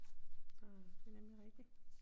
Så det er nemlig rigtigt